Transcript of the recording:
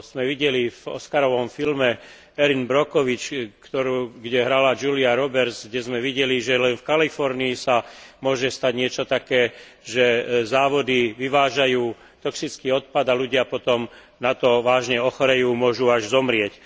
sme videli v oskarovom filme Erin Brockovich, kde hrala Julia Roberts a kde sme videli, že len v Kalifornii sa môže stať niečo také, že závody vyvážajú toxický odpad a ľudia potom na to vážne ochorejú, môžu až zomrieť.